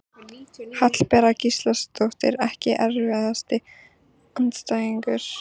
Hallbera Gísladóttir Ekki erfiðasti andstæðingur?